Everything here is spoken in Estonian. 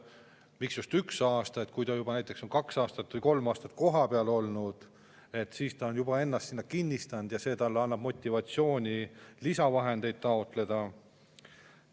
Kui juba näiteks kaks või kolm aastat kohapeal olnud, siis ta on ennast sinna kinnistanud ja see annab talle motivatsiooni lisavahendeid taotleda.